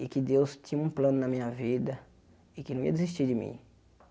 e que Deus tinha um plano na minha vida e que não ia desistir de mim.